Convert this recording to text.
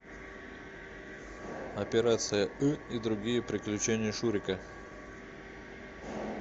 операция ы и другие приключения шурика